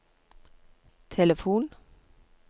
telefon